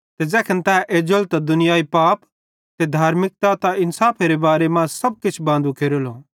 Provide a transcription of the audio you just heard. ते ज़ैखन तै एज्जेलो त दुनियाई पाप ते धार्मिकता ते इन्साफेरे बारे मां सब किछ बांदू केरेलो